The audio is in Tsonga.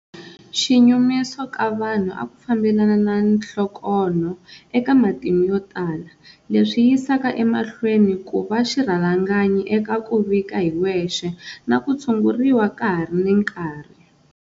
Xinyumiso ka vanhu a ku fambelana na nhlokonho eka matimu yotala, leswi yisaka emahlweni ku va xirhalanganyi eka ku vika hi wexe na ku tshunguriwa ka ha ri na nkarhi.